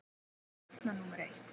Það er stefna númer eitt.